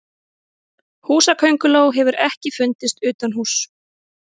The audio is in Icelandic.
Húsakönguló hefur ekki fundist utanhúss.